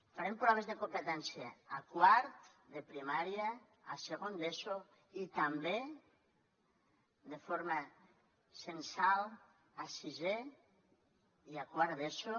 farem proves de competència a quart de primària a segon d’eso i també de forma censal a sisè i a quart d’eso